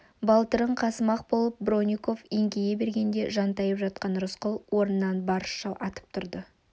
балтырын қасымақ болып бронников еңкейе бергенде жантайып жатқан рысқұл орнынан барысша атып тұрды